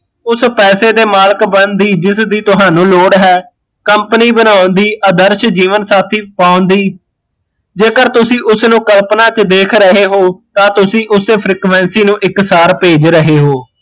ਉਸ ਪੈਸੇ ਦੇ ਮਾਲਕ ਬਣਨ ਦੀ ਜਿਸਦੀ ਤੁਹਾਨੂ ਲੋੜ ਹੈ company ਬਣਾਉਣ ਦੀ, ਆਦਰਸ਼ ਜੀਵਨ ਸਾਥੀ ਬਣਾਉਣ ਦੀ, ਜੇਕਰ ਤੁਸੀਂ ਉਸ ਨੂ ਕਲਪਨਾ ਕੇ ਦੇਖ ਰਹੇ ਹੋ ਤਾਂ ਤੁਸੀਂ ਉਸੇ frequency ਨੂੰ ਇੱਕ ਸਾਰ ਭੇਜ ਰਹੇ ਹੋ